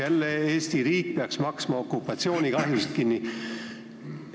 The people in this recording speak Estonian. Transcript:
Jälle peaks Eesti riik okupatsioonikahjusid kinni maksma.